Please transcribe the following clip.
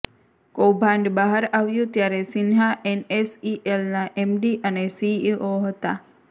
કૌભાંડ બહાર આવ્યું ત્યારે સિંહા એનએસઇએલનાં એમડી અને સીઇઓ હતાં